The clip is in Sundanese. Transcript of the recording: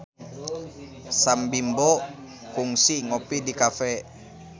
Sam Bimbo kungsi ngopi di cafe